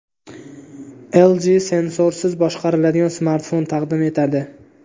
LG sensorsiz boshqariladigan smartfon taqdim etadi.